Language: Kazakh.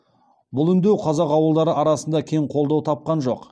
бұл үндеу қазақ ауылдары арасында кең қолдау тапқан жоқ